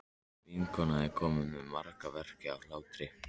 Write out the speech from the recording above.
Vinkonan er komin með magaverk af hlátri.